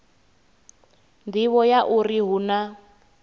nḓivho ya uri hu na